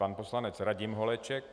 Pan poslanec Radim Holeček.